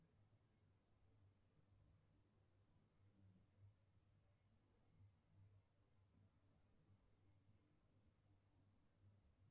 сбер кто живет в атико